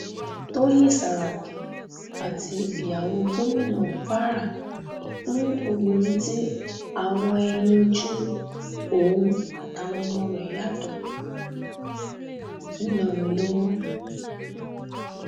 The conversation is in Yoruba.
tọyìn sàràkí àti ìyàwó gómìnà kwara fún obìnrin tí àwọ ẹyìn ojú òun àtàwọn ọmọ rẹ yàtọ ńìlọrin lọwọ